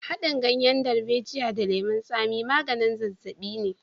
Haɗin ganyen darbejiya da lemon tsami maganin zazzaɓi ne.